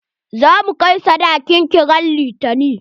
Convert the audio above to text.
Za mu kai sadakin ki ran litani.